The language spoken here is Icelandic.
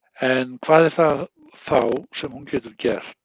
En hvað er það þá sem hún getur gert?